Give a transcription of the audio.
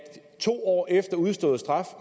to år efter udstået straf